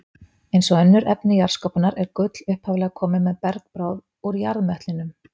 Eins og önnur efni jarðskorpunnar er gull upphaflega komið með bergbráð úr jarðmöttlinum.